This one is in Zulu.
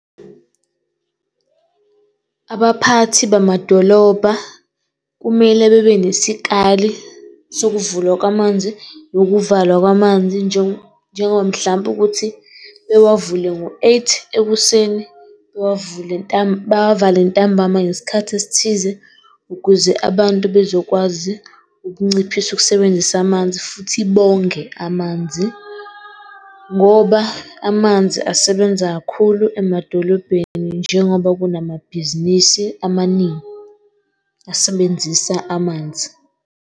Abaphathi bamadolobha kumele bebe nesikali sokuvulwa kwamanzi nokuvalwa kwamanzi njengoba mhlampe ukuthi bewavule ngo-eight ekuseni, bewavule bawavale ntambama ngesikhathi esithize, ukuze abantu bezokwazi ukunciphisa ukusebenzisa amanzi futhi bonge amanzi. Ngoba amanzi asebenza kakhulu emadolobheni njengoba kunamabhizinisi amaningi asebenzisa amanzi.